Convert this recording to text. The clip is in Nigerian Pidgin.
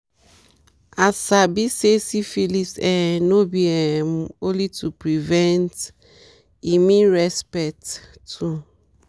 i sabi say syphilis um no be um only to prevent e mean respect too